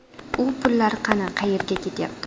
U pullar qani, qayerga ketyapti?